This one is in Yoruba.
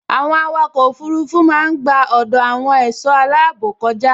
Àwọn àwòkọ òfurufú máa n gba ọdọ àwọn ẹṣọ aláàbò kọja